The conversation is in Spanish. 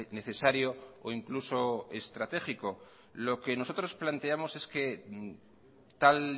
necesario o incluso estratégico lo que nosotros planteamos es que tal